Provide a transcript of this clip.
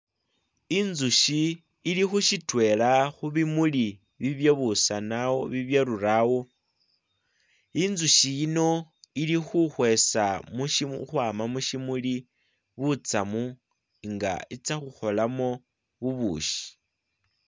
Inzushi ili khushitwela khubimuli ibye busana ibyerurawo, inzushi yino ili khu khwesa ukwama mushimuli butsamu nga itsa khukholamo bubushi.